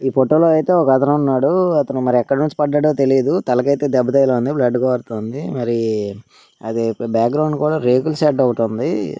ఈ ఫోటో లో అయితే ఒకతనున్నాడు అతను మరీ ఎక్కనుంచి పడ్డాడో తెలియదు తలకి అయితే దెబ్బ తగిలి ఉంది బ్లడ్ కారుతుంది మరి అది బ్యాగ్రౌండ్ కూడా రేకుల షెడ్డు ఒకటి ఉంది.